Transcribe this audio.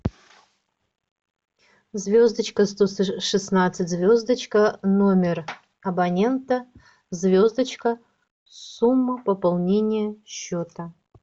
звездочка сто шестнадцать звездочка номер абонента звездочка сумма пополнения счета